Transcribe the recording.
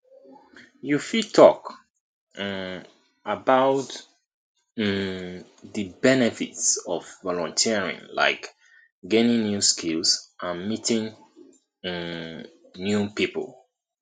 you fit talk um about um di benefits of volunteering like gaining new skills and meeting um new people